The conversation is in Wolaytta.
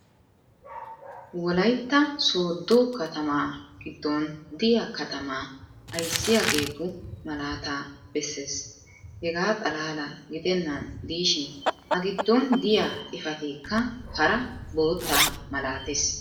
wolaytta soodo katamaa giddon diya katamaa ayssiyaageetu malaataa besees. hegaa xalaala gidennan diishshin a giddon diya xifateekka hara bootta malatees.